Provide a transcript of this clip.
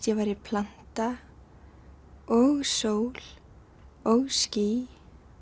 ég væri planta og sól og ský